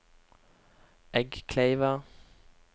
Eggkleiva